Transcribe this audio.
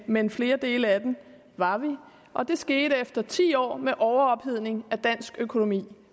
men flere dele af den var vi og det skete efter ti år med overophedning af dansk økonomi